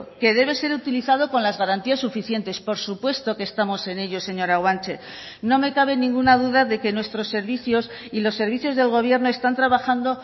que debe ser utilizado con las garantías suficientes por supuesto que estamos en ello señora guanche no me cabe ninguna duda de que nuestros servicios y los servicios del gobierno están trabajando